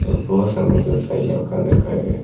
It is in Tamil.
ஒரு பர்ஷன் வந்து சைட் ல உக்காந்துருக்காரு.